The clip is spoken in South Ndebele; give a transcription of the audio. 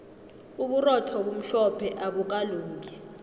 uburotho obumhlophe abukalungi